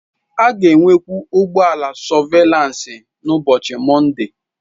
A ga-enwekwu ụgbọ ala sọvelansị n'ụbọchị Mọnde.